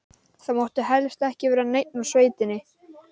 Það mátti helst ekki vera neinn úr sveitinni.